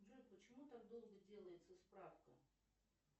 джой почему так долго делается справка